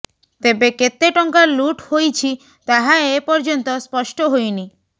ତେବେ କେତେ ଟଙ୍କା ଲୁଟ୍ ହୋଇଛି ତାହା ଏ ପର୍ଯ୍ୟନ୍ତ ସ୍ପଷ୍ଟ ହୋଇନି